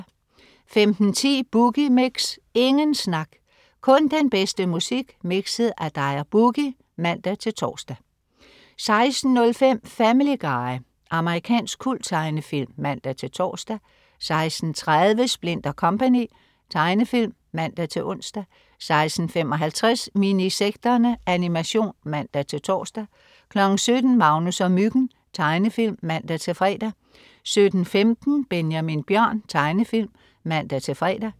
15.10 Boogie Mix. Ingen snak, kun den bedste musik mikset af dig og "Boogie" (man-tors) 16.05 Family Guy. Amerikansk kulttegnefilm (man-tors) 16.30 Splint & Co. Tegnefilm (man-ons) 16.55 Minisekterne. Animation (man-tors) 17.00 Magnus og Myggen. Tegnefilm (man-fre) 17.15 Benjamin Bjørn. Tegnefilm (man-fre)